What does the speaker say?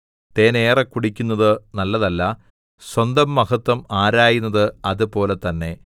തേൻ ഏറെ കുടിക്കുന്നത് നല്ലതല്ല സ്വന്തം മഹത്വം ആരായുന്നത് അതുപോലെ തന്നെ